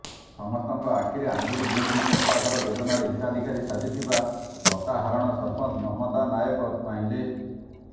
ସମସ୍ତଙ୍କ ଆଖିରେ ଆଙ୍ଗୁଠି ଗେଂଜି ପକ୍କା ଘର ଯୋଜନାରେ ହିତାଧିକାରୀ ସାଜିଥିବା ଲତାହାରଣ ସରପଞ୍ଚ ମମତା ନାୟକ ନୁଆଁଇଲେ